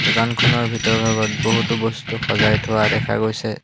দোকানখনৰ ভিতৰৰ ভাগত বহুতো বস্তু সজাই থোৱা দেখা গৈছে।